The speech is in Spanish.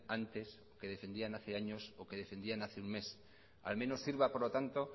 antes que defendían hace años o que defendían hace un mes al menos sirva por lo tanto